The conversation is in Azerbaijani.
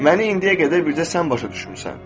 Məni indiyə qədər bircə sən başa düşmüsən.